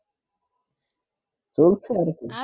চলছে আর কি